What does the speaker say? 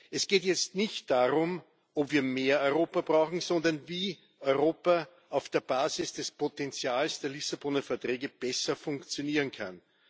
Es geht jetzt nicht darum, ob wir mehr Europa brauchen, sondern wie Europa auf der Basis des Potenzials der Lissaboner Verträge besser funktionieren kann.